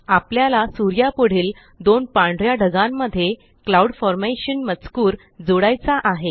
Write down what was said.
आपल्याला सुर्यापुढील दोन पांढऱ्या ढगांमध्येCloud फॉर्मेशन मजकूर जोडायचा आहे